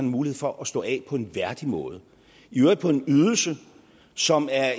mulighed for at stå af på en værdig måde i øvrigt på en ydelse som er